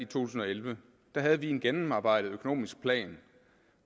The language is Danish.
tusind og elleve havde vi en gennemarbejdet økonomisk plan